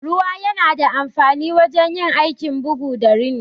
Ruwa yana da amfanin wurin yin aikin bugu da rini.